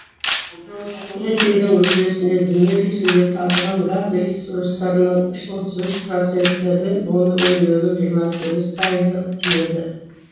ресейдің үлесіне дүние жүзінде табылған газ ресурстарының отыз үш проценті мен оны өндірудің жиырма сегіз пайызы тиеді